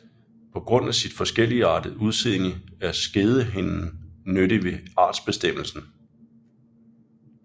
På grund af sit forskelligartede udseende er skedehinden nyttig ved artsbestemmelsen